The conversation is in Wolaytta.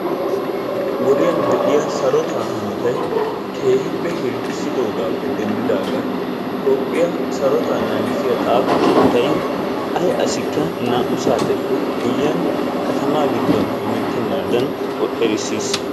Wodiyan de'ya sarotaa hanotay keehippe hirggisidoogaaappe denddidaagan Toophiyaa sarotaa naagissiya xaafo keettay ay asikka naa"u saateppe guyiyan katamaa giddon hemetenaadan erisiis,